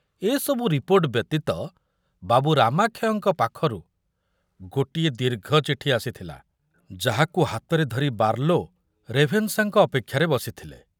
ଏ ସବୁ ରିପୋର୍ଟ ବ୍ୟତୀତ ବାବୁ ରାମାକ୍ଷୟଙ୍କ ପାଖରୁ ଗୋଟିଏ ଦୀର୍ଘ ଚିଠି ଆସିଥିଲା, ଯାହାକୁ ହାତରେ ଧରି ବାର୍ଲୋ ରେଭେନଶାଙ୍କ ଅପେକ୍ଷାରେ ବସିଥିଲେ।